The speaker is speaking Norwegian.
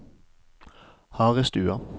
Harestua